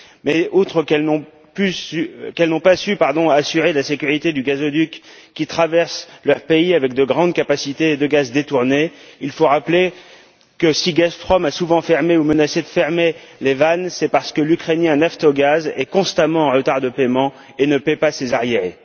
Mais, outre qu'elles n'ont pas su assurer la sécurité du gazoduc qui traverse leur pays, avec de grandes capacités de gaz détournées, il faut rappeler que, si Gazprom a souvent fermé ou menacé de fermer les vannes, c'est parce que l'ukrainien Naftogaz est constamment en retard de paiement et ne paie pas ses arriérés.